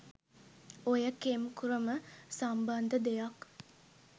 ඔය කෙම් ක්‍රම සම්බන්ධ දෙයක්..